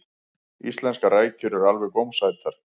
íslenskar rækjur eru alveg gómsætar